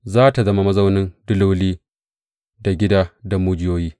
Za tă zama mazaunin diloli da gida don mujiyoyi.